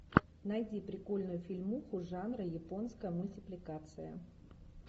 найди прикольную фильмуху жанра японская мультипликация